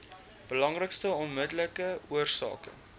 belangrikste onmiddellike oorsake